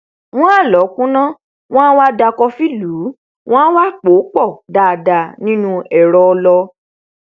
wọn á lọọ kúnná wọn á wá da kọfí lùú wọn a wá pòó pọ dáadáa nínu ẹrọ ọlọ